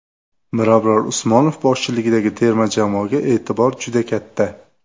Mirabror Usmonov boshchiligidagi terma jamoaga e’tibor juda katta.